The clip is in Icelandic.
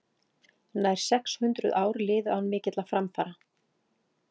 nær sex hundruð ár liðu án mikilla framfara